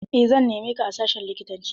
Eh, zan neme ta a sashin likitanci.